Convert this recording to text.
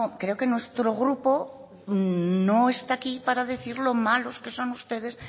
creo que nuestro grupo no está aquí para decir lo malos que son ustedes